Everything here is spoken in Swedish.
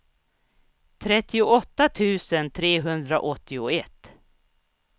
trettioåtta tusen trehundraåttioett